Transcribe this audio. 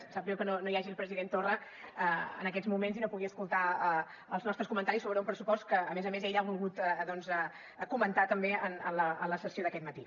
em sap greu que no hi hagi el president torra en aquests moments i no pugui escoltar els nostres comentaris sobre un pressupost que a més a més ell ha volgut doncs comentar també en la sessió d’aquest matí